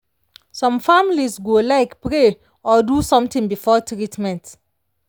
some families go like pray or do something before treatment.